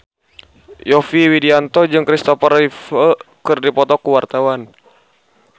Yovie Widianto jeung Christopher Reeve keur dipoto ku wartawan